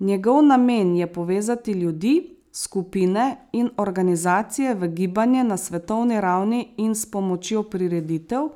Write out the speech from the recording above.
Njegov namen je povezati ljudi, skupine in organizacije v gibanje na svetovni ravni in s pomočjo prireditev